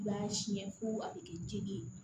I b'a siyɛn fo a be kɛ jeli ye